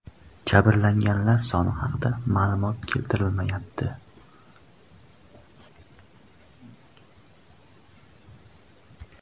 Jabrlanganlar soni haqidagi ma’lumot keltirilmayapti.